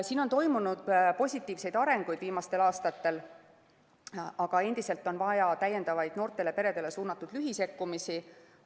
Siin on viimastel aastatel toimunud positiivne areng, aga endiselt on vaja täiendavaid noortele peredele suunatud lühisekkumisi.